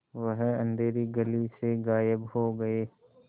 वह अँधेरी गली से गायब हो गए